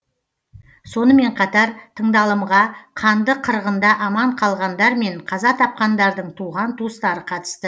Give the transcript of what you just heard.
сонымен қатар тыңдалымға қанды қырғында аман қалғандар мен қаза тапқандардың туған туыстары қатысты